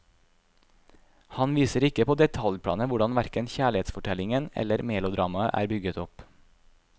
Han viser ikke på detaljplanet hvordan verken kjærlighetsfortellingen eller melodramaet er bygget opp.